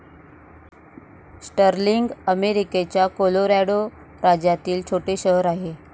Sterling अमेरिकेच्या Colorado राज्यातील छोटे शहर आहे.